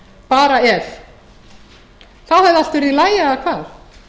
bara ef þá hefði allt verið í lagi eða hvað